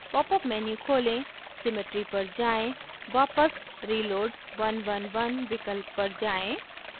popअप menu खोलें symmetry पर जाएँ वापस reload {1 1 1} विकल्प पर जाएँ